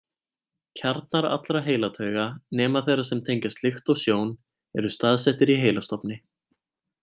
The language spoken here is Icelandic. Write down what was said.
Kjarnar allra heilatauga, nema þeirra sem tengjast lykt og sjón, eru staðsettir í heilastofni.